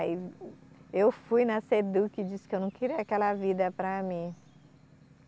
Aí eu fui na Seduc e disse que eu não queria aquela vida para mim.